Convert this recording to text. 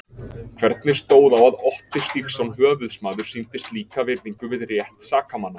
Hvernig stóð á að Otti Stígsson höfuðsmaður sýndi slíka virðingu við rétt sakamanna?